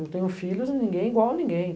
Eu tenho filhos e ninguém é igual a ninguém.